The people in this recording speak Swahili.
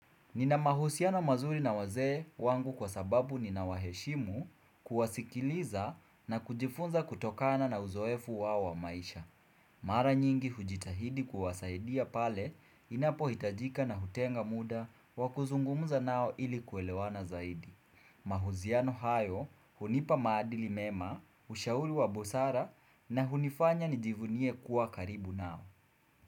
Nina mahusiano mazuri na wazee wangu kwa sababu ninawaheshimu kuwasikiliza na kujifunza kutokana na uzoefu wao wa maisha. Mara nyingi hujitahidi kuwasaidia pale inapo hitajika na hutenga muda wa kuzungumza nao ili kuelewana zaidi. Mahusiano hayo hunipa maadili mema, ushauri wa busara na hunifanya nijivunie kuwa karibu nao.